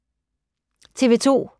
TV 2